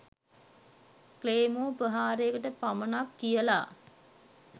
claymore ප්‍රහාරයකට පමණක් කියලා